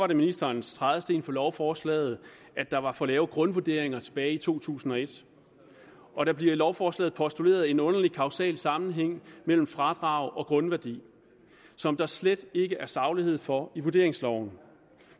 det ministerens trædesten for lovforslaget at der var for lave grundvurderinger tilbage i to tusind og et og der bliver i lovforslaget postuleret en underlig kausal sammenhæng mellem fradrag og grundværdi som der slet ikke er saglighed for i vurderingsloven